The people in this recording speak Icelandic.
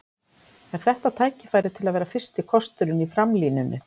Er þetta tækifæri til að vera fyrsti kosturinn í framlínunni?